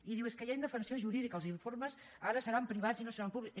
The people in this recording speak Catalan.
i diu és que hi ha indefensió jurídica els informes ara seran privats i no seran públics